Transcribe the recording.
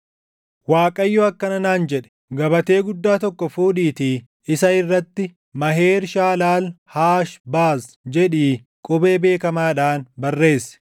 Waaqayyo akkana naan jedhe; “Gabatee guddaa tokko fuudhiitii isa irratti, ‘Maheer-Shaalaal-Haash-Baaz’ + 8:1 Maheer-Shaalaal-Haash-Baaz jechuun dafii boojiʼi; ariifadhuu saami jechuu dha. jedhii qubee beekamaadhaan barreessi.”